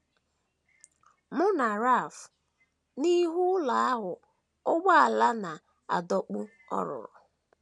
Mụ na Ralph n’ihu ụlọ ahụ ụgbọala na - adọkpụ ọ rụrụ